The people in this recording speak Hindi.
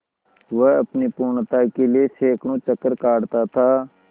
वह अपनी पूर्णता के लिए सैंकड़ों चक्कर काटता था